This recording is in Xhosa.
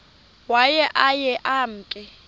waye aye emke